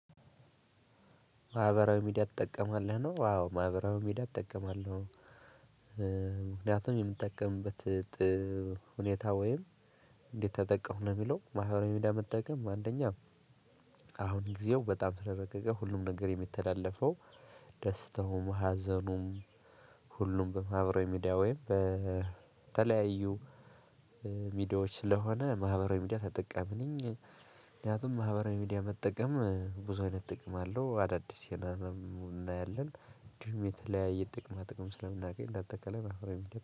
ማህበራዊ ሚዲያ ትጠቀማለህ? ነው። አዎ! ማህበራዊ ሚዲያ እጠቀማለሁ። ምክንያቱም የምትጠቀምበት ሁኔታ ወይም እንዴት ተጠቀምኩ ለሚለው። ማህበራዊ ሚዲያ መጠቀም አንደኛ አሁን ጊዜው በጣም ስለረቀቀ ሁሉም ነገር የሚተላለፈው ደስታውም፣ ሀዘኑም፣ ሁሉም በማህበራዊ ሚዲያ ወይም በተለያዩ ሚዲያዎች ስለሆነ ማህበራዊ ሚዲያ ተጠቃሚ ነኝ። ምክንያቱም ማህበራዊ ሚዲያ መጠቀም ብዙ አይነት ጥቅም አለው። አዳዲስ የሆነ እናያለን እንዲሁም የተለያየ ጥቅማ ጥቅም ስለምናገኝ እንደ አጠቃላይ